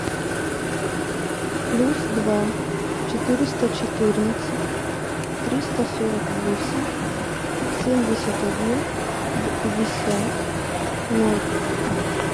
плюс два четыреста четырнадцать триста сорок восемь семьдесят один пятьдесят ноль